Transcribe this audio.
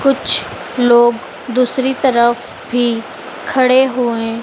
कुछ लोग दूसरी तरफ भी खड़े हुए--